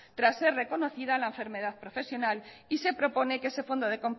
tras ser reconocida la enfermedad profesional y se propone que ese fondo de